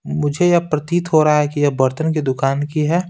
मुझे यह प्रतीत हो रहा है कि यह बर्तन की दुकान की है।